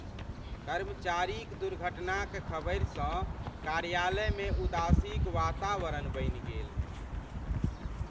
कर्मचारीक दुर्घटनाक खबरिसँ कार्यालयमे उदासीक वातावरण बनि गेल।